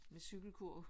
Med cykelkurv